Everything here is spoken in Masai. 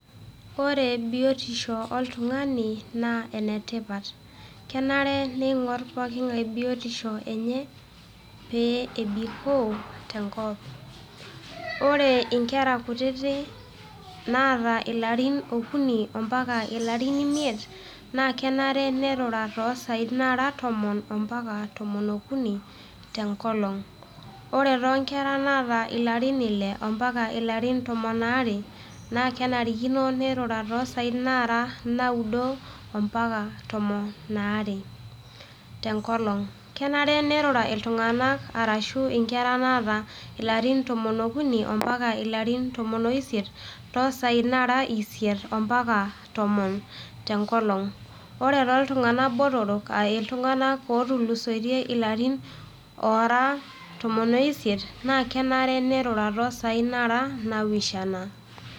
Ore biotisho oltung'ani naa enetipat, kenare pee eingor pookingai biotisho enye pee ebikoo tenkop. Ore inkera kutiti naata ilarin okuni ompaka ilarin imiet, naa kenare pee eirura too isai Nara tomon ompaka tomon okuni tenkolong'. Ore too nkera naata ilarin Ile ompaka tomon oo are , naa kenarikino neitura too isai nara naudo ompaka tomon are tenkolong'. Kenare iltung'ana arashu inkera naata ilarin tomon okuni ompaka ilarin tomon o isiet too isai Nara isiet mpaka tomon tenkolong'. Ore too iltung'ana botoro ashu iltung'ana ootulusoitie ilarin tomon o isiet kenare neitura too isai Nara napishana.